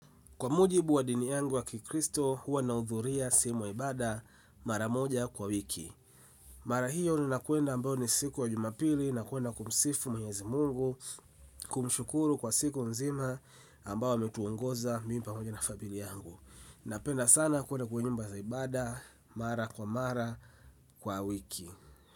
Kwa mujibu wa dini yangu ya kikristo, huwa nahudhuria sehemu ya ibada mara moja kwa wiki. Mara hiyo nina kwenda ambayo ni siku wa jumapili na kwenda kumsifu mwenyezi mungu. Kumshukuru kwa siku mzima ambaye ametuongoza mimi pamoja na familia yangu napenda sana kuenda kwenye nyumba za ibada mara kwa mara kwa wiki.